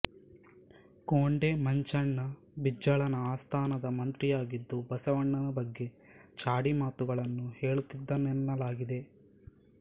ಕೊಂಡೆ ಮಂಚಣ್ಣ ಬಿಜ್ಜಳನ ಆಸ್ಥಾನದ ಮಂತ್ರಿಯಾಗಿದ್ದು ಬಸವಣ್ಣನ ಬಗ್ಗೆ ಚಾಡಿ ಮಾತುಗಳನ್ನು ಹೇಳುತ್ತಿದ್ದನೆನ್ನಲಾಗಿದೆ